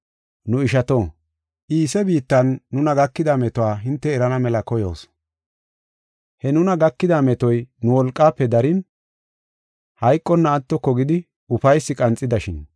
Nu ishato, Iise biittan nuna gakida metuwa hinte erana mela koyoos. He nuna gakida metoy nu wolqaafe darin, hayqonna attoko gidi ufaysi qanxidashin.